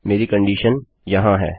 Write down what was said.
मेरी कंडीशन यहाँ है